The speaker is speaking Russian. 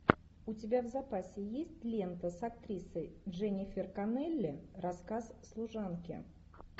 у тебя в запасе есть лента с актрисой дженнифер коннелли рассказ служанки